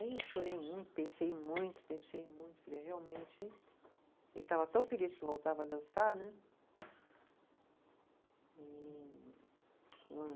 Aí eu chorei muito, pensei muito, pensei muito, falei realmente. Ele estava tão feliz que eu voltava a dançar, né? E